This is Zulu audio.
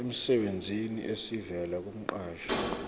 emsebenzini esivela kumqashi